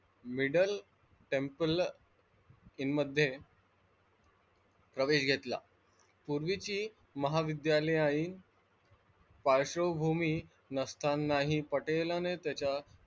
Middle temp मध्ये प्रवेश घेतला पूर्वीची महाविद्यालयीन पार्श्वभूमी नसतानाहि पटेलांनी त्याच्या,